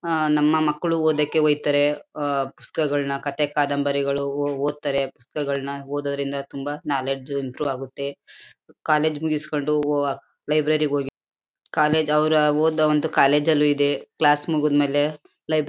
ಆಹ್ಹ್ ನಮ್ಮ ಮಕ್ಕಳು ಓದೋಕೆ ಒಯ್ತಾರೆ ಆಹ್ಹ್ ಪುಸ್ತಕಗಳನ್ನ ಕಥೆ ಕಾದಂಬರಿಗಳು ಓ ಓದ್ತಾರೆ ಪುಸ್ತಕಗಳನ್ನ ಓದೋದ್ರಿಂದ ತುಂಬಾ ಕ್ನಾಲೆಜ್ ಇಂಪ್ರೂವ್ ಆಗುತ್ತೆ. ಕಾಲೇಜು ಮುಗಸ್ಕೊಂಡು ಲೈಬ್ರರಿಗ್ ಹೋಗಿ ಕಾಲೇಜು ಅವ್ರ ಓದೋ ಒಂದು ಕಾಲೇಜ ಅಲ್ಲೂ ಇದೆ ಕ್ಲಾಸ್ ಮುಗಿದ್ಮೇಲೆ ಲೈಬ್ರೆ --